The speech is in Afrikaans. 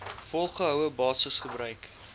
volgehoue basis gebruik